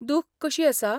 दुख कशी आसा?